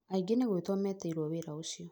angĩ nĩ gwĩtwo metĩirwo wĩra ũcio